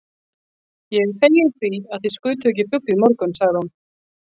Ég er fegin því, að þig skutuð ekki fugl í morgun sagði hún.